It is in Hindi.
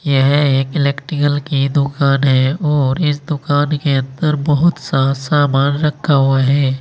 यह एक इलेक्ट्रिकल की दुकान है और इस दुकान के अंदर बहुत सारा सामान रखा हुआ है।